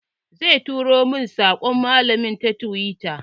Zai turo min saƙon malamin ta tiwita.